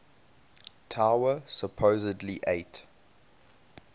tower supposedly ate